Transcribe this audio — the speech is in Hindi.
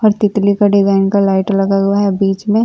और तितली का डिजाइन का लाइट लगा हुआ है बीच में।